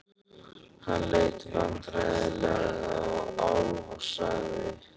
Hann leit vandræðalega á Álf og sagði